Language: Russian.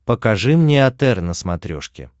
покажи мне отр на смотрешке